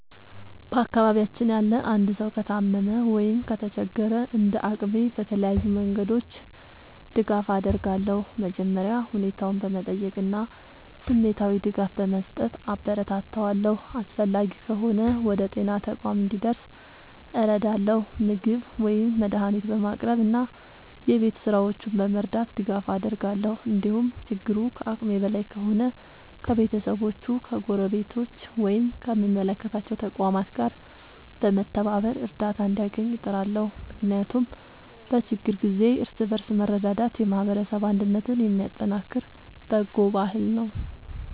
በአካባቢያችን ያለ አንድ ሰው ከታመመ ወይም ከተቸገረ፣ እንደ አቅሜ በተለያዩ መንገዶች ድጋፍ አደርጋለሁ። መጀመሪያ ሁኔታውን በመጠየቅ እና ስሜታዊ ድጋፍ በመስጠት አበረታታዋለሁ። አስፈላጊ ከሆነ ወደ ጤና ተቋም እንዲደርስ እረዳለሁ፣ ምግብ ወይም መድኃኒት በማቅረብ እና የቤት ሥራዎቹን በመርዳት ድጋፍ አደርጋለሁ። እንዲሁም ችግሩ ከአቅሜ በላይ ከሆነ ከቤተሰቦቹ፣ ከጎረቤቶች ወይም ከሚመለከታቸው ተቋማት ጋር በመተባበር እርዳታ እንዲያገኝ እጥራለሁ። ምክንያቱም በችግር ጊዜ እርስ በርስ መረዳዳት የማህበረሰብ አንድነትን የሚያጠናክር በጎ ባህል ነው።